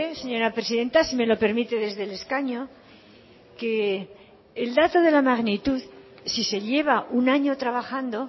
señora presidenta si me lo permite desde el escaño que el dato de la magnitud si se lleva un año trabajando